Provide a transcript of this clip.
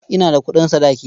Ina da kuɗin sadaki.